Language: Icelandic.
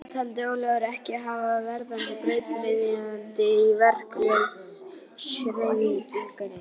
Það taldi Ólafur ekki hæfa verðandi brautryðjanda í verkalýðshreyfingunni.